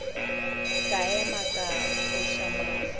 ka ema ka foša mahlo